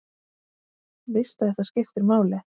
Veist að þetta skiptir máli.